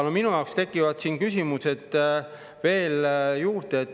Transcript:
Minu jaoks tekib siin küsimusi veel juurde.